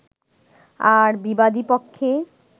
আর বিবাদী পক্ষে